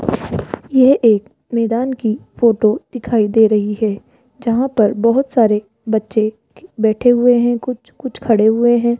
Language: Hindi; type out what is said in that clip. यह एक मैदान की फोटो दिखाई दे रही है जहां पर बहोत सारे बच्चे बैठे हुए है कुछ कुछ खड़े हुए हैं।